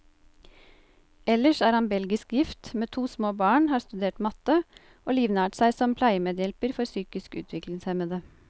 Ellers er han belgisk gift, med to små barn, har studert matte, og livnært seg som pleiemedhjelper for psykisk utviklingshemmede.